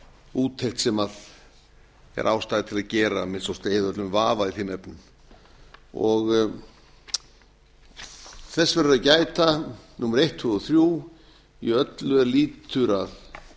úttekt sem er ástæða til að gera að minnsta kosti að eyða öllum vafa í þeim efnum þess verður að gæta númer eitt tvö og þrjú í öllu er lýtur að